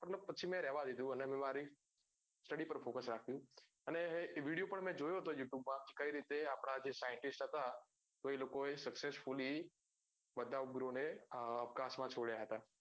મતલબ પછી મેં રેઅવા દીધું ને મેં મારી study પર focus રાખ્યું અને એ video પણ મેં જોયું હતું youtube માં કે કઈ રીતે આપડા જે scientist હતા તો એ લોકો એ successfully બચાવ્પૂર્વ ને class માં છોડ્યા હતા